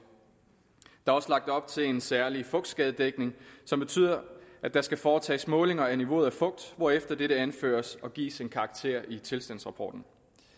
der er også lagt op til en særlig fugtskadedækning som betyder at der skal foretages målinger af niveauet af fugt hvorefter dette anføres og gives en karakter i tilstandsrapporten